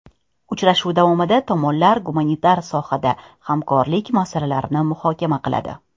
Uchrashuv davomida tomonlar gumanitar sohada hamkorlik masalalarini muhokama qiladi.